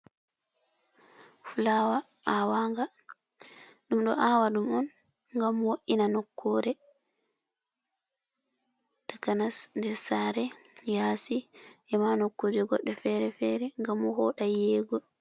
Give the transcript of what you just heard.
fulaawa aawaanga ɗum ɗo aawa ɗum on ngam wo''na nokkuure takanas nder saare, yaasi ema nokkuuje goɗɗe fere-fere ngam vooɗaa yi'eego.